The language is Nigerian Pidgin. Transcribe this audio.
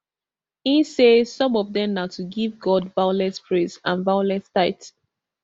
e say some of dem na to give god violent praise and violent tithe